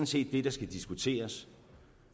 set det der skal diskuteres